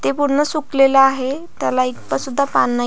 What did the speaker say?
ते पूर्ण सुकलेला आहे त्याला एक सुद्धा पान नाही.